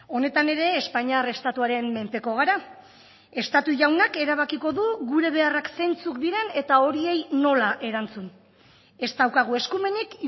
honetan ere espainiar estatuaren menpeko gara estatu jaunak erabakiko du gure beharrak zeintzuk diren eta horiei nola erantzun ez daukagu eskumenik